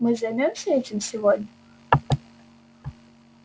мы займёмся этим сегодня